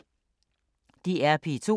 DR P2